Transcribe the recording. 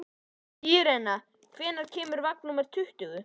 Irena, hvenær kemur vagn númer tuttugu?